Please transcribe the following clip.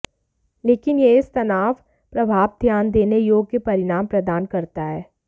लेकिन यह इस तनाव प्रभाव ध्यान देने योग्य परिणाम प्रदान करता है